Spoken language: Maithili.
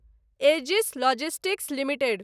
edges logistics limited